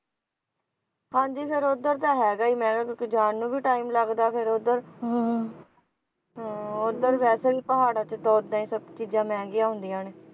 ਹਾਂਜੀ ਫੇਰ ਉਧਰ ਤਾਂ ਹੈਗਾ ਈ ਆ ਮਹਿੰਗਾ ਕਿਉਂਕਿ ਜਾਣ ਨੂੰ ਵੀ time ਲੱਗਦਾ ਫੇਰ ਉਧਰ ਹਾਂ ਹਾਂ ਉਧਰ ਵੈਸੇ ਵੀ ਪਹਾੜਾਂ ਚ ਤਾਂ ਉਹਦਾ ਹੀ ਸਭ ਚੀਜਾਂ ਮਹਿੰਗੀਆਂ ਹੁੰਦੀਆਂ ਨੇ,